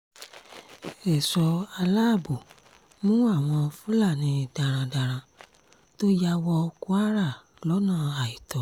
èso aláàbò mú àwọn fúlàní darandaran tó ya wọ kwara lọ́nà àìtọ́